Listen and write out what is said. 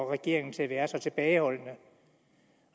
regeringen til at være så tilbageholdende